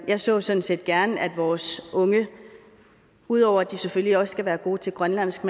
jeg så sådan set gerne at vores unge ud over at de selvfølgelig også skal være gode til grønlandsk